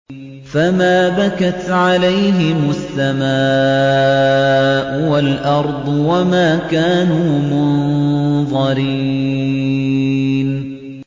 فَمَا بَكَتْ عَلَيْهِمُ السَّمَاءُ وَالْأَرْضُ وَمَا كَانُوا مُنظَرِينَ